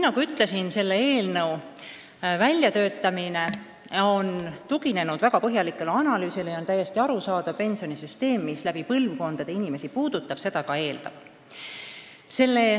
Nagu ma ütlesin, selle väljatöötamine on tuginenud väga põhjalikule analüüsile ja on täiesti arusaadav, et pensionisüsteem, mis puudutab mitme põlvkonna inimesi, seda ka eeldab.